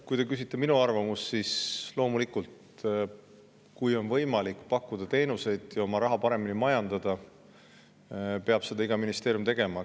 Kui te küsite minu arvamust, siis loomulikult, kui on võimalik pakkuda teenuseid nii, et oma raha paremini majandatakse, siis peab iga ministeerium seda tegema.